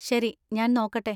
ശരി, ഞാൻ നോക്കട്ടെ.